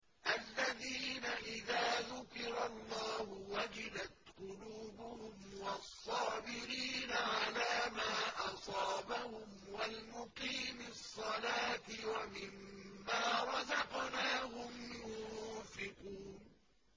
الَّذِينَ إِذَا ذُكِرَ اللَّهُ وَجِلَتْ قُلُوبُهُمْ وَالصَّابِرِينَ عَلَىٰ مَا أَصَابَهُمْ وَالْمُقِيمِي الصَّلَاةِ وَمِمَّا رَزَقْنَاهُمْ يُنفِقُونَ